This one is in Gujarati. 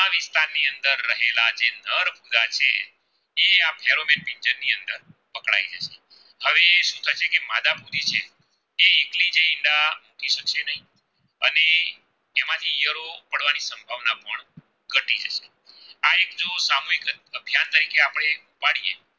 તરીકે આપણે પાડીયે